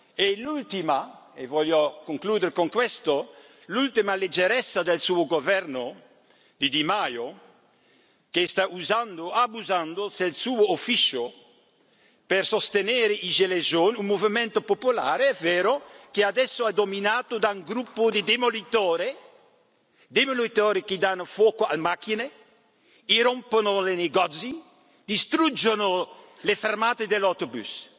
E l'ultima e voglio concludere con questo l'ultima leggerezza del suo Governo, di Di Maio, che sta usando e abusando della sua carica per sostenere i gilets jaunes un movimento popolare, è vero, che adesso è dominato da un gruppo di demolitori, demolitori che danno fuoco alle macchine, irrompono nei negozi, distruggono le fermate degli autobus.